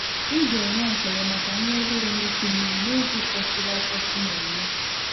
Ị ga-enwe ekele maka nnwere onwe ịkụ mmiri n’oge kwesịrị ekwesị na-enye.